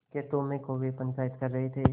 खेतों में कौए पंचायत कर रहे थे